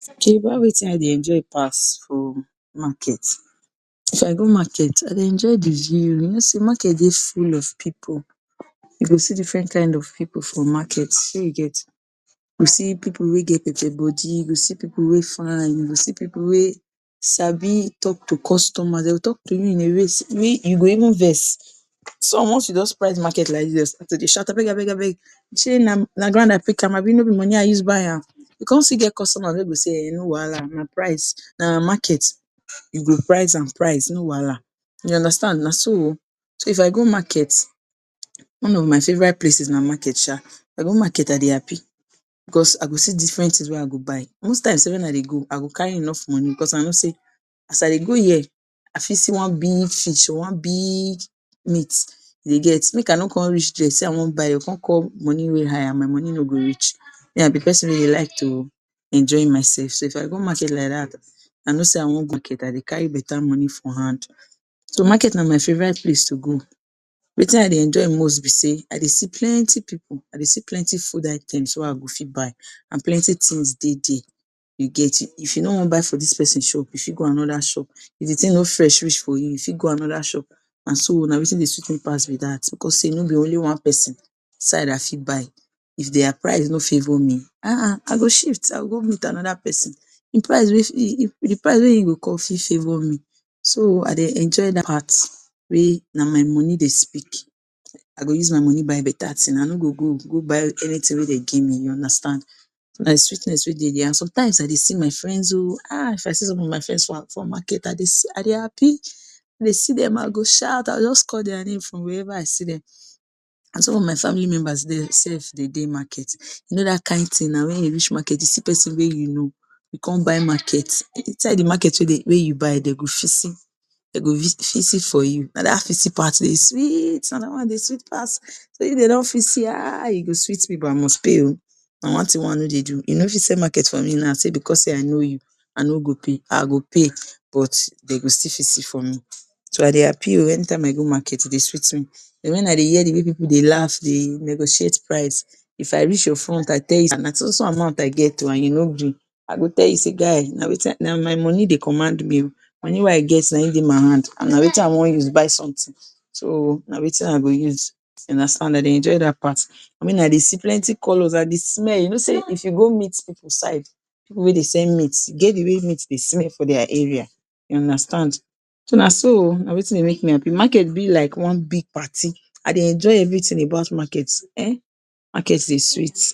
Ok about Wetin I dey enjoy pass for market. if I go market I dey enjoy de view you no sey market dey full of pipu we dey see different kind of pipu for market shey you get. You go see pipu wey get body, you go see pipu wey fine, you go see pipu wey sabi talk to customers dem go talk to you in a way sey you go even vex. some once you don price market like dis, dem go start to de shout abeg abeg abeg shey na ground I pick am no be money I use buy am? E come still get customers wey go sey um no wahala na price, na market you go price and price no wahala you understand naso o. so if I go market, one of my favorite places na market um. if I go market I de happy cause I go see different things wey I go buy. Most times sef when I de go I go carry enough money because I no sey, as I de go here I fit see one big fish or one big meat you dey get make I no come reach there sey I wan buy, dem go come call money wey high and my money no go reach me I be de person wey dey like to enjoy myself. So if I go market like that, I no sey I wan I de carry beta money for hand so market na my favorite place to go. wetin I de enjoy most be sey, I de see plenty pipu, I de see plenty food items wey I go fit buy and plenty things de there. you get if you no wan buy from dis person shop you fit go another shop if d thing no fresh reach for you, you fit go another shop and so on na wetin de sweet me pass be dat because sey no be only one person side I fit buy if their price no favor me I go shift I go go meet another person de price wey e go call fit favor me. so I de enjoy dat part wey na my money de speak I go use my money buy beta thing I no go go go buy anything wey dem give me you understand na de sweetness wey de there. and sometimes I de see my friends o um if I see some of my friends for market I de happy if I see dem I go shout, I go just call their name from where ever I see dem and some of my family members sef dey dey market you no dat kind thing na when you reach market you see person wey you know you come buy market, inside de market wey you buy dem go fisi, dey go fisi for you na dat fisi part de sweet na dat one de sweet pass say if de don fisi um go sweet me but I must pay o and one thing wey I no de do you no go fit sell market for me sey because sey I no you I no go pay, I go pay but dem go still fisi for me so I dey happy o any time I go market e de sweet me den wen I hear de way pipu dey laugh de negotiate price if I reach your front I tell you na so so amount I get o and you no gree I go tell you sey guy na na my money dey command me o, money wey I get na em de my hand and na wetin I wan use buy something so na wetin I go use you understand and I de enjoy dat part me I dey see plenty colors I de smell you no sey if you go meat pipu side pipu wey dey sell meat e get d way meat de smell for their area you understand so na so o na wetin de make me happy market be like one big party I dey enjoy everything about market um market de sweet